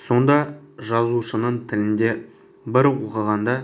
сонда жазушының тілінде бір оқығанда